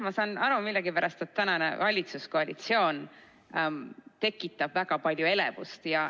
Ma saan aru, et millegipärast praegune valitsuskoalitsioon tekitab väga palju elevust.